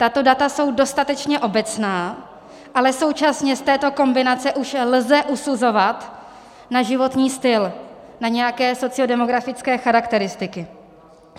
Tato data jsou dostatečně obecná, ale současně z této kombinace už lze usuzovat na životní styl, na nějaké sociodemografické charakteristiky.